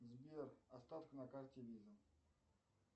сбер остаток на карте виза